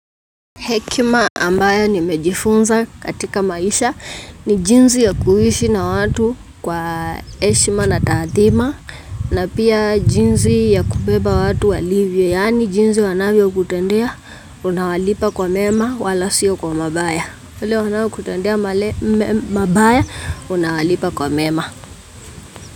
Hekima ambayo nimejifunza katika maisha ni jinsi ya kuishi na watu kwa heshima na taathima na pia jinsi ya kubeba watu walivyo yaani jinsi wanavyo kutendea unawalipa kwa mema wala siyo kwa mabaya wale wanao kutendea mabaya unawalipa kwa mema.